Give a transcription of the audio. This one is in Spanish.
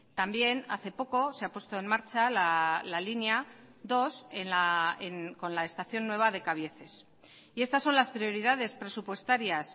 también hace poco se ha puesto en marcha la línea dos con la estación nueva de cabieces y estas son las prioridades presupuestarias